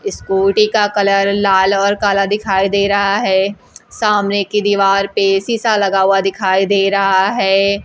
Scooty का colour लाल और काला दिखाई दे रहा है सामने की दीवार पे शीशा लगा हुआ दिखाई दे रहा है।